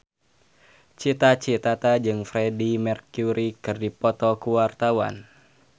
Cita Citata jeung Freedie Mercury keur dipoto ku wartawan